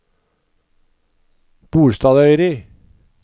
Bolstadøyri